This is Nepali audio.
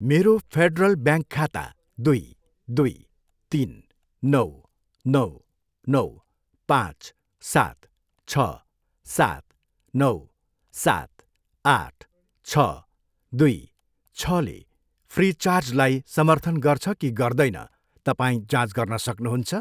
मेरो फेडरल ब्याङ्क खाता दुई, दुई, तिन, नौ, नौ, नौ, पाँच, सात, छ, सात, नौ, सात, आठ, छ, दुई, छले फ्रिचार्ज लाई समर्थन गर्छ कि गर्दैन, तपाईँ जाँच गर्न सक्नुहुन्छ?